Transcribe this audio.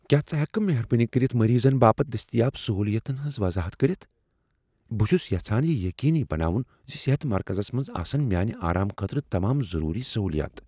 کیا ژٕ ہیکہٕ کھہٕ مہربٲنی کٔرتھ مریضن باپت دستیاب سہولیاتن ہٕنٛز وضاحت کٔرتھ؟ بہٕ چھس یژھان یہ یقینی بناون ز صحت مرکزس منز آسن میانہِ آرام خٲطرٕ تمام ضروری سہولیات۔